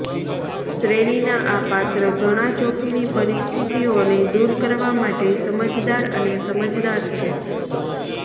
શ્રેણીના આ પાત્ર ઘણાં જોખમી પરિસ્થિતિઓને દૂર કરવા માટે સમજદાર અને સમજદાર છે